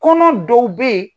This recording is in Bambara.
Kɔnɔ dɔw bɛ ye.